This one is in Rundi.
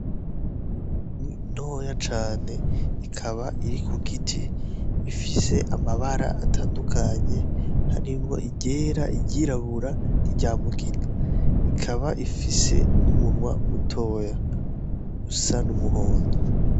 Inyoni ntoya cane ikaba iri ku giti ifise amabara atandukanye hari ngo igera iryirabura ni ryamugina ikaba ifise n'umunwa mutoya gusa n'umuhondo.